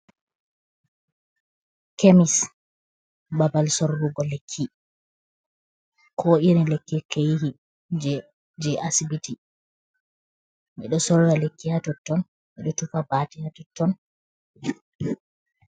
Kemis babal sorrugo lekki, ko irin lekki keyehi je asibiti, ɓeɗo sorra lekki ha totton ko tufa bate ha totton.